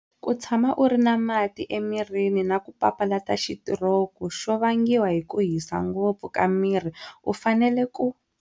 Ku tshama u ri na mati emirini na ku papalata xitiroku xo vangiwa hi ku hisa ngopfu ka miri u fanele ku.